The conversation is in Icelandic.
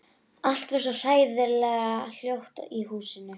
Allt varð svo hræðilega hljótt í húsinu.